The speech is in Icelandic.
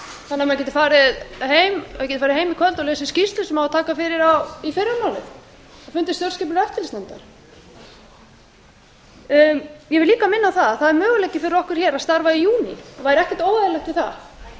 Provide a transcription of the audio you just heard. þannig að við getum farið heim í kvöld og lesið skýrslu sem á að taka fyrir í fyrramálið á fundi stjórnskipunar og eftirlitsnefndar ég vil líka minna á að það er möguleiki fyrir okkur að starfa í júní og væri ekkert óeðlilegt við það ég